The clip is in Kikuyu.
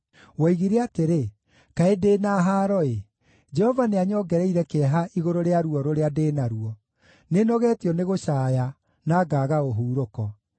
Woigire atĩrĩ, ‘Kaĩ ndĩ na haaro-ĩ! Jehova nĩanyongereire kĩeha igũrũ rĩa ruo rũrĩa ndĩ naruo; nĩnogetio nĩ gũcaaya, na ngaaga ũhurũko.’ ”